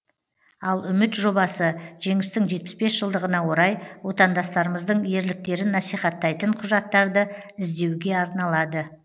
ал үміт жобасы жеңістің жетпіс бес жылдығына орай отандастарымыздың ерліктерін насихаттайтын құжаттарды іздеуге арналады